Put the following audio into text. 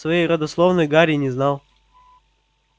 своей родословной гарри не знал